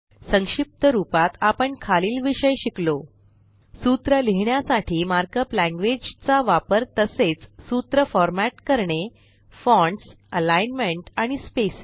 संक्षिप्त रूपात आपण खालील विषय शिकलो सूत्र लिहिण्यासाठी मार्कअप लॅंग्वेज चा वापर तसेच सूत्र फॉरमॅट करणे फॉन्ट्स अलिग्नमेंट आणि स्पेसिंग